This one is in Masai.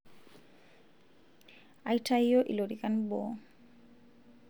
aitayio ilorikan boo